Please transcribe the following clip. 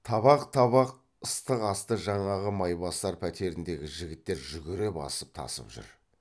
табақ табақ ыстық асты жаңағы майбасар пәтеріндегі жігіттер жүгіре басып тасып жүр